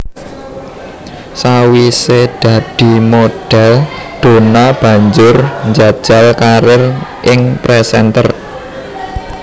Sawisé dadi modhél Donna banjur njajal karir ing presenter